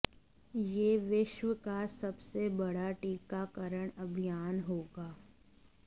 यह विश्व का सबसे बड़ा टीकाकरण अभियान होगा